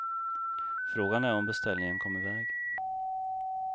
Frågan är om beställningen kom iväg.